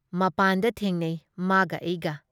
ꯃꯄꯥꯟꯗ ꯊꯦꯡꯅꯩ ꯃꯥꯒ ꯑꯩꯒ ꯫